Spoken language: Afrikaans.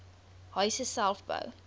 huise self bou